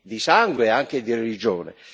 di sangue e anche di religione.